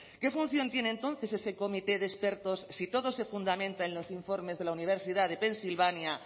qué función tiene entonces ese comité de expertos si todo se fundamenta en los informes de la universidad pennsylvania